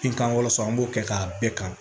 Binkanw sɔ an b'o kɛ k'a bɛɛ kan